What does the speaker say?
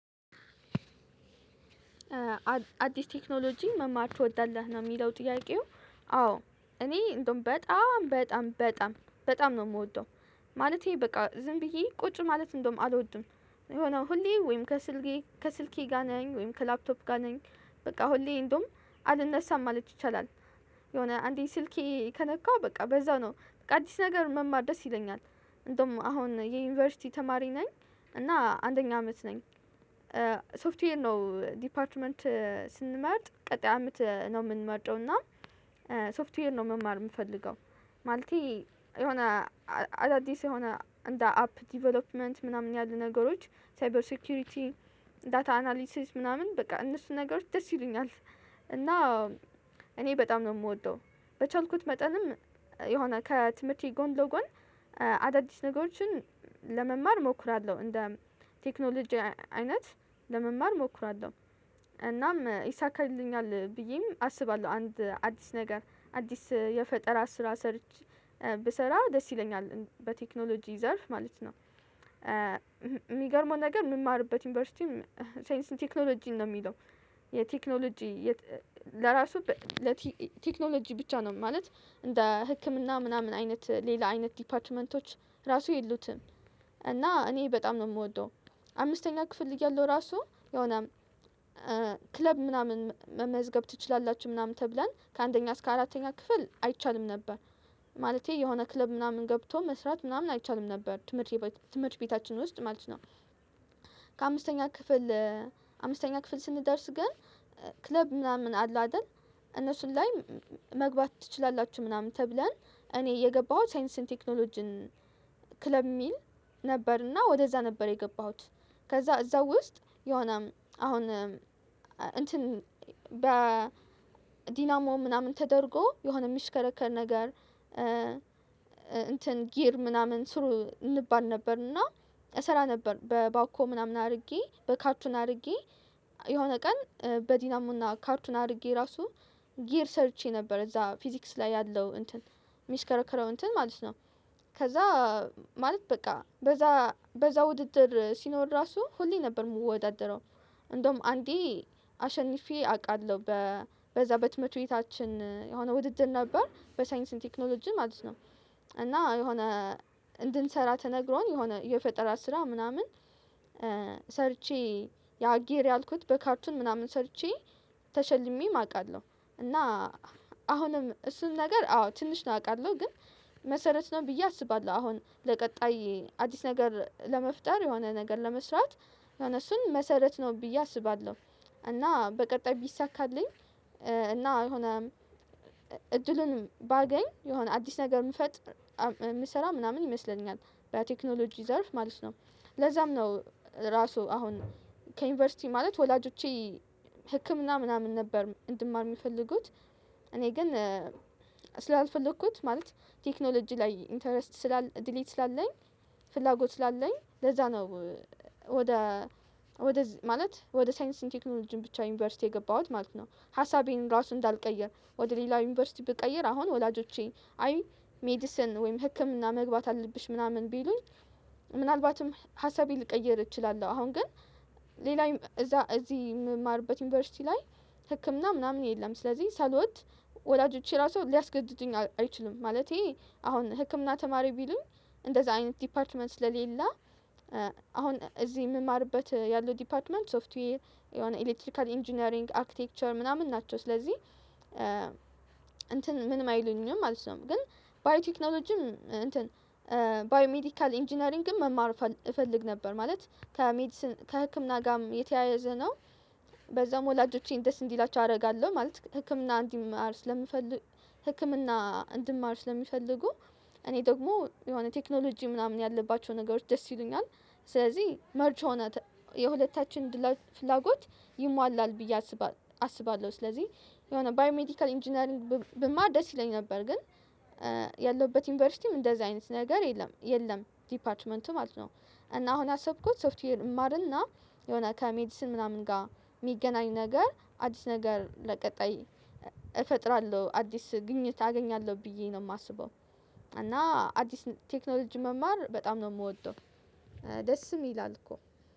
አዲስ ቴክኖሎጂ መማር ትወዳለህ? ነው የሚለው ጥያቄው አዎ እኔ እንደውም በጣም በጣም በጣም በጣም ነው የምወደው። ማለቴ በቃ ዝም ብዬ ቁጭ ማለት እንደውም አልወድም። የሆነ ሁሌ ወይም ከስልኬ ከስልኬ ጋር ነኝ ወይም ከላፕቶፕ ጋር ነኝ በቃ ሁሌ እንደውም አልነሳም ማለት ይቻላል። የሆነ አንዴ ስልኬ ከነካሁ በቃ በዛው ነው በቃ አዲስ ነገር መማር ደስ ይለኛል። እንደውም አሁን የዩኒቨርሲቲ ተማሪ ነኝ እና አንደኛ አመት ነኝ። ሶፍትዌር ነው ዲፓርትመንት ስንመርጥ ቀጣይ አመት ነው የምንመርጠው እና ሶፍትዌር ነው መማር የምፈልገው። ማለቴ የሆነ አዳዲስ የሆነ እንደ አፕ ዴቨሎፕመንት ምናምን ያሉ ነገሮች ሳይበር ሴኩሪቲ ዳታ አናሊሲስ ምናምን በቃ እነሱን ነገሮች ደስ ይሉኛል። እና እኔ በጣም ነው የምወደው በቻልኩት መጠንም የሆነ ከትምህርቴ ጎን ለጎን አዳዲስ ነገሮችን ለመማር እሞክራለሁ እንደ ቴክኖሎጂ አይነት ለመማር እሞክራለሁ። እናም ይሳካልኛል ብዬም አስባለሁ አንድ አዲስ ነገር አዲስ የፈጠራ ስራ ሰርች ብሰራ ደስ ይለኛል በቴክኖሎጂ ዘርፍ ማለት ነው። የሚገርመው ነገር የምማርበት ዩኒቨርሲቲም ሳይንስ ቴክኖሎጂ ነው የሚለው የቴክኖሎጂ ለራሱ ለቴክኖሎጂ ብቻ ነው ማለት እንደ ህክምና ምናምን አይነት ሌላ አይነት ዲፓርትመንቶች ራሱ የሉትም እና እኔ በጣም ነው የምወደው። አምስተኛ ክፍል እያለሁ ራሱ የሆነ ክለብ ምናምን መመዝገብ ትችላላችሁ ምናምን ተብለን ከአንደኛ እስከ አራተኛ ክፍል አይቻልም ነበር። ማለቴ የሆነ ክለብ ምናምን ገብቶ መስራት ምናምን አይቻልም ነበር። ትምህርት ቤታችን ውስጥ ማለት ነው። ከአምስተኛ ክፍል አምስተኛ ክፍል ስንደርስ ግን ክለብ ምናምን አለ አይደል? እነሱን ላይ መግባት ትችላላችሁ ምናምን ተብለን እኔ የገባሁት ሳይንስን ቴክኖሎጂን ክለብ የሚል ነበርና ወደዛ ነበር የገባሁት። ከዛ እዛ ውስጥ የሆነም አሁን እንትን በዲናሞ ምናምን ተደርጎ የሆነ የሚሽከረከር ነገር። እንትን ጊር ምናምን ስሩ እንባል ነበር እና እሰራ ነበር በባኮ ምናምን አድርጌ በካርቱን አድርጌ የሆነ ቀን በዲናሞና ካርቱን አድርጌ ራሱ ጊር ሰርቼ ነበር። እዛ ፊዚክስ ላይ ያለው እንትን የሚሽከረከረው እንትን ማለት ነው። ከዛ ማለት በቃ በዛ በዛ ውድድር ሲኖር ራሱ ሁሌ ነበር የምወዳደረው እንደውም አንዴ አሸንፌ አውቃለሁ። በዛ በትምህርት ቤታችን የሆነ ውድድር ነበር በሳይንስና ቴክኖሎጂ ማለት ነው። እና የሆነ እንድንሰራ ተነግሮን የሆነ የፈጠራ ስራ ምናምን ሰርቼ ያጊር ያልኩት በካርቱን ምናምን ሰርቼ ተሸልሜም አውቃለሁ። እና አሁንም እሱን ነገር አዎ ትንሽ ነው አውቃለሁ ግን መሰረት ነው ብዬ አስባለሁ አሁን ለቀጣይ አዲስ ነገር ለመፍጠር የሆነ ነገር ለመስራት የሆነ እሱን መሰረት ነው ብዬ አስባለሁ። እና በቀጣይ ቢሳካልኝ እና የሆነ እድሉን ባገኝ የሆነ አዲስ ነገር የምፈጥር የምሰራ ምናምን ይመስለኛል በቴክኖሎጂ ዘርፍ ማለት ነው። ለዛም ነው ራሱ አሁን ከዩኒቨርሲቲ ማለት ወላጆቼ ህክምና ምናምን ነበር እንድማር የሚፈልጉት እኔ ግን ስላልፈለኩት ማለት ቴክኖሎጂ ላይ ኢንተረስት ስላል ድሪም ስላለኝ ፍላጎት ስላለኝ ለዛ ነው። ወደ ወደ ማለት ወደ ሳይንስና ቴክኖሎጂ ብቻ ዩኒቨርሲቲ የገባሁት ማለት ነው። ሀሳቤን ራሱ እንዳልቀየር ወደ ሌላ ዩኒቨርሲቲ ብቀይር አሁን ወላጆቼ አይ ሜዲሰን ወይም ህክምና መግባት አለብሽ ምናምን ቢሉኝ ምናልባትም ሀሳቤን ሊቀይር እችላለሁ አሁን ግን ሌላ እዛ እዚህ የምማርበት ዩኒቨርሲቲ ላይ ህክምና ምናምን የለም። ስለዚህ ሳሎድ ወላጆቼ ራሱ ሊያስገድዱኝ አይችልም ማለቴ አሁን ህክምና ተማሪ ቢሉኝ እንደዛ አይነት ዲፓርትመንት ስለሌለ አሁን እዚህ የምማርበት ያለው ዲፓርትመንት ሶፍትዌይ የሆነ ኤሌክትሪካል ኢንጂነሪንግ አርክቴክቸር ምናምን ናቸው ስለዚህ እንትን ምንም አይሉኝም ማለት ነው። ግን ባዮ ቴክኖሎጂም እንትን ባዮ ሜዲካል ኢንጂነሪንግም መማር እፈልግ ነበር ማለት። ከህክምና ጋርም የተያያዘ ነው በዛም ወላጆቼን ደስ እንዲላቸው አደርጋለሁ ማለት ህክምና እንድማር ስለምፈልግ ህክምና እንድማር ስለሚፈልጉ እኔ ደግሞ የሆነ ቴክኖሎጂ ምናምን ያለባቸው ነገሮች ደስ ይሉኛል። ስለዚህ መርጅ የሆነ የሁለታችን ፍላጎት ይሟላል ብዬ አስባለሁ። ስለዚህ የሆነ ባዮሜዲካል ኢንጂነሪንግ ብማር ደስ ይለኝ ነበር ግን ያለሁበት ዩኒቨርሲቲም እንደዚህ አይነት ነገር የለም የለም ዲፓርትመንቱ ማለት ነው። እና አሁን ያሰብኩት ሶፍትዌር እማርና የሆነ ከሜዲስን ምናምን ጋር የሚገናኝ ነገር አዲስ ነገር ለቀጣይ እፈጥራለሁ አዲስ ግኝት አገኛለሁ ብዬ ነው የማስበው። እና አዲስ ቴክኖሎጂ መማር በጣም ነው የምወደው። ደስም ይላል እኮ